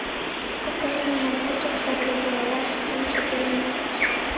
покажи мне мультик сорвиголова сезон четырнадцать